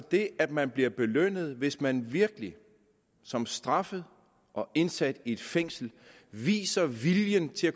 det at man bliver belønnet hvis man virkelig som straffet og indsat i et fængsel viser viljen til at